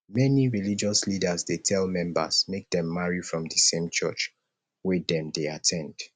many religious leaders dey tell members make dem marry from di same church wet dem dey at ten d